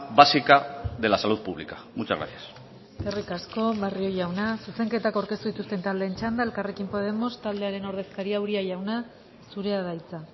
básica de la salud pública muchas gracias eskerrik asko barrio jauna zuzenketak aurkeztu dituzten taldeen txanda elkarrekin podemos taldearen ordezkaria uria jauna zurea da hitza